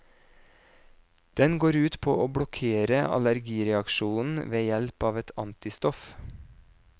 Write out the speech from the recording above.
Den går ut på å blokkere allergireaksjonen ved hjelp av et antistoff.